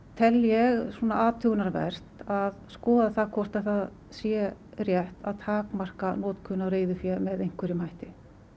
tel ég athugunarvert að skoða hvort það sé rétt að takmarka notkun á reiðufé með einhverjum hætti